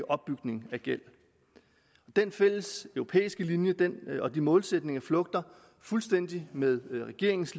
opbygning af gæld den fælleseuropæiske linje og de målsætninger flugter fuldstændig med regeringens